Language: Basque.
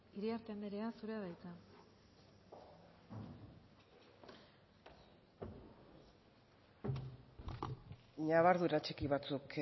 iriarte andrea zurea da hitza ñabardura txiki batzuk